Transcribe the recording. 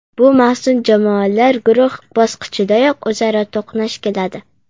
Bu mavsum jamoalar guruh bosqichidayoq o‘zaro to‘qnash keladi.